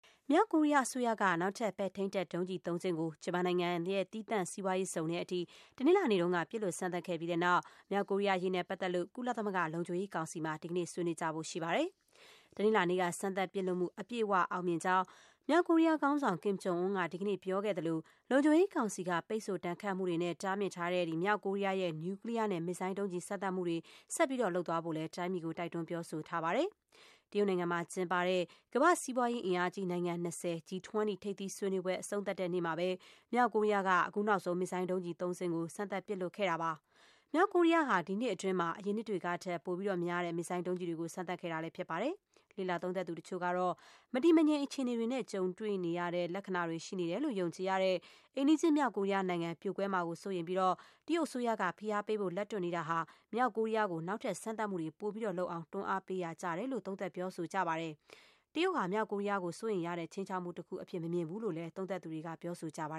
မြောက်ကိုရီးယားအစိုးရက နောက်ထပ် ပဲ့ထိန်းတပ်ဒုံးကျည် သုံးစင်းကို ဂျပန်နိုင်ငံ သီးသန့်စီးပွားရေးဇုံထဲအထိ တနင်္လာနေ့က ပစ်လွှတ် စမ်းသပ် ခဲ့ပြီးတဲ့နောက် မြောက်ကိုရီးယားအရေးနဲ့ ပတ်သက်လို့ ကုလသမဂ္ဂလုံခြုံရေးကောင်စီမှာ ဒီကနေ့ ဆွေးနွေးဖို့ရှိပါတယ်။ တနင်္လာနေ့က စမ်းသပ်ပစ်လွှတ်မှု အပြည့်အ၀ အောင်မြင်ကြောင်း မြောက်ကိုရီးယား ခေါင်းဆောင် ကင်မ်ဂျုံအွန်းက ဒီကနေ့ ပြောခဲ့သလို၊ လုံခြုံရေးကောင်စီက ပိတ်ဆို့ဒဏ်ခတ်မှုတွေနဲ့ တားမြစ်ထားတဲ့ မြောက်ကိုရီးယားရဲ့ နျူကလီးယားနဲ့ မစ်ဇိုင်းဒုံးကျည် စမ်းသပ်မှုတွေ ဆက်လုပ်သွားဖို့လည်း တိုင်းပြည်ကို တိုက်တွန်း ပြောဆိုသွားပါတယ်။ တရုတ်နိုင်ငံမှာကျင်းပတဲ့ ကမ္ဘာ့စီးပွားရေး အင်အားကြီး နိုင်ငံ ၂၀ ရဲ့ G20 ထိပ်သီးဆွေးနွေးပွဲ အဆုံးသတ်နေ့မှာပဲ မြောက်ကိုရီးယားက အခုနောက်ဆုံး မစ်ဇိုင်း ဒုံးကျည်သုံးစင်းကို စမ်းသပ်ပစ်လွှတ်ခဲ့တာ ဖြစ်ပါတယ်။ မြောက်ကိုရီးယားဟာ ဒီနှစ်အတွင်း အရင်နှစ်တွေကထက် ပိုများတဲ့ မစ်ဇိုင်းဒုံးကျည်တွေကို စမ်းသပ်ခဲ့တာပါ။ လေ့လာသုံးသပ်သူ တချို့ကတော့ မတည်မငြိမ် အခြေအနေတွေနဲ့ ကြုံနေရတဲ့ လက္ခဏာတွေ ရှိနေတယ်လို့ ယုံကြည်ရတဲ့ အိမ်နီးချင်း မြောက်ကိုရီးယားနိုင်ငံ ပြိုကွဲသွားမှာကို စိုးရိမ်ပြီး တရုတ်အစိုးရက ဖိအားပေးဖို့ လက်တွန့်နေတာဟာ မြောက်ကိုရီးယားကို နောက်ထပ် စမ်းသပ်မှုတွေ ပိုပြီး လုပ်အောင် တွန်းအားပေးရတယ်လို့ သုံးသပ် ပြောဆိုကြပါတယ်။ တရုတ်ဟာ မြောက်ကိုရီးယားကို စိုးရိမ်ရတဲ့ ခြိမ်းခြောက်မှုတခု အဖြစ် မမြင်ဘူးလို့လည်း လေ့လာသူတွေက သုံးသပ်ပြောဆိုကြပါ